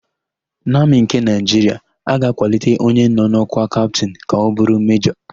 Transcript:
N'Amị nke Naịjiria, a ga-akwalite onye nọ n'ọ́kwá Kaptịn ka ọ bụrụ Mejọ.